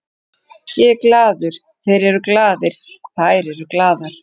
Ég er glaður, þeir eru glaðir, þær eru glaðar.